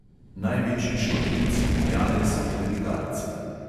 Največji škodljivci ljubljane so klerikalci.